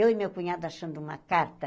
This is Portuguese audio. Eu e meu cunhado achando uma carta,